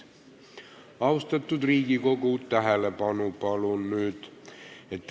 Austatud Riigikogu, palun nüüd tähelepanu!